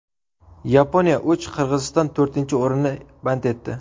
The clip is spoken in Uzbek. Yaponiya uch, Qirg‘iziston to‘rtinchi o‘rinni band etdi.